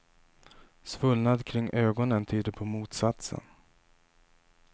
Svullnad kring ögonen tyder på motsatsen.